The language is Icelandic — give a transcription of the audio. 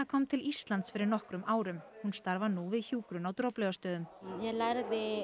kom til Íslands fyrir nokkrum árum hún starfar nú við hjúkrun á Droplaugarstöðum ég lærði